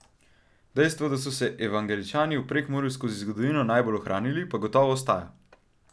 Dejstvo, da so se evangeličani v Prekmurju skozi zgodovino najbolj ohranili, pa gotovo ostaja.